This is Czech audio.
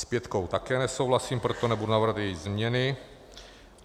S pětkou taky nesouhlasím, proto nebudu navrhovat její změny.